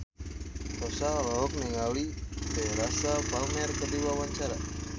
Rossa olohok ningali Teresa Palmer keur diwawancara